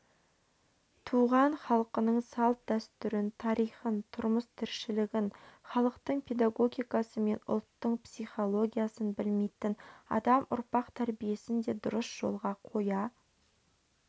туған халқының салт-дәстүрін тарихын тұрмыс-тіршілігін халықтық педагогикасы мен ұлттың психологиясын білмейтін адам ұрпақ тәрбиесін де дұрыс жолға қоя